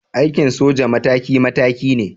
Aikin soja mataki mataki ne.